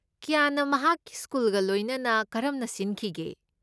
ꯀ꯭ꯌꯥꯟꯅ ꯃꯍꯥꯛꯀꯤ ꯁ꯭ꯀꯨꯜꯒ ꯂꯣꯏꯅꯅ ꯀꯔꯝꯅ ꯁꯤꯟꯈꯤꯒꯦ?